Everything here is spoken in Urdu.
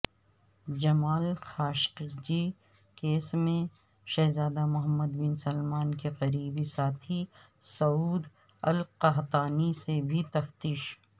جمال خاشقجی کیس میں شہزادہ محمدبن سلمان کےقریبی ساتھی سعود القحطانی سے بھی تفتیش